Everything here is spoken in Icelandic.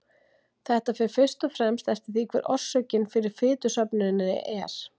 Þetta fer fyrst og fremst eftir því hver orsökin fyrir fitusöfnuninni er.